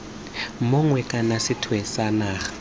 mongwe kana sethwe sa naga